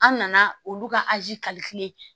An nana olu ka azi